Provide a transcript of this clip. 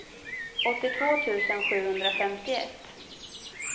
åttiotvå tusen sjuhundrafemtioett